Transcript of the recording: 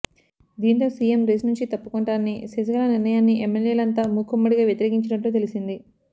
దీంతో CM race నుంచి తప్పుకొంటానని శశికళ నిర్ణయాన్ని ఎమ్మెల్యేలంతా మూకుమ్మడిగా వ్యతిరేకించినట్లు తెలిసింది